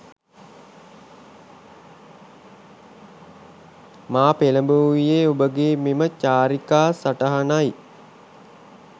මා පෙලඹවූයේ ඔබගේ මෙම චාරිකා සටහනයි